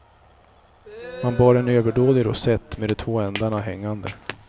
Man bar en överdådig rosett med de två ändarna hängande.